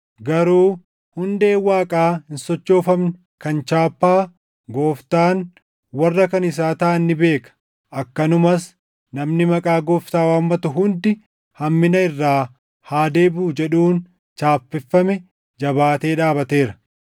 Garuu hundeen Waaqaa hin sochoofamne kan chaappaa, “Gooftaan warra kan isaa taʼan ni beeka,” + 2:19 \+xt Lak 16:5\+xt* akkanumas “Namni maqaa Gooftaa waammatu hundi hammina irraa haa deebiʼu” jedhuun chaappeffame jabaatee dhaabateera.